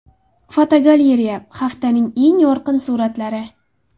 Fotogalereya: Haftaning eng yorqin suratlari.